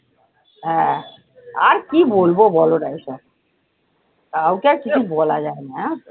হ্যাঁ আর কি বলবো বলো এইসব, কাউকে আর কিছু বলা যায় না জানো তো?